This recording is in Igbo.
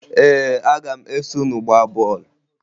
Ee, aga m eso unu gbaa bọọlụ